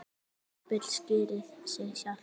Þetta bull skýrir sig sjálft.